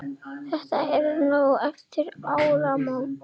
Þetta var nokkru eftir áramót.